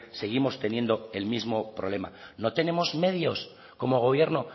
seguimos teniendo el mismo problema no tenemos medios como gobierno